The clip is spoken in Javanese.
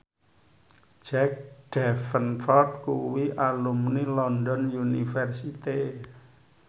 Jack Davenport kuwi alumni London University